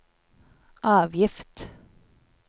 avgift